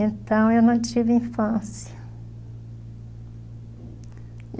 Então eu não tive infância.